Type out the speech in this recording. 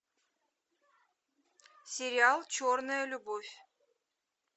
сериал черная любовь